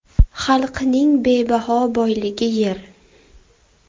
Xalqning bebaho boyligi yer.